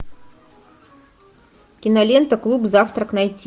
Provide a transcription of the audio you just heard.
кинолента клуб завтрак найти